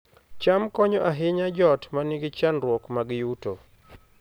cham konyo ahinya joot ma nigi chandruok mag yuto